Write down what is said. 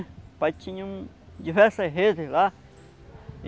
O papai tinha um diversas redes lá.